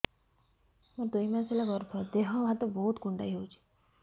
ମୋର ଦୁଇ ମାସ ହେଲା ଗର୍ଭ ଦେହ ହାତ ବହୁତ କୁଣ୍ଡାଇ ହଉଚି